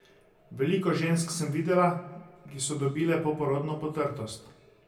Veliko žensk sem videla, ki so dobile poporodno potrtost.